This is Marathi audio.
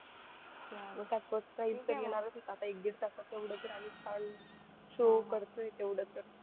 मग काय first prize तर येणारच होतं आता एक दीड तासाचा एवढं जर आम्ही छान show करतोय तेवढं तर